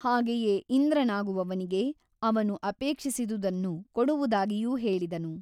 ಹಾಗೆಯೇ ಇಂದ್ರನಾಗುವವನಿಗೆ ಅವನು ಅಪೇಕ್ಷಿಸಿದುದನ್ನು ಕೊಡುವುದಾಗಿಯೂ ಹೇಳಿದನು.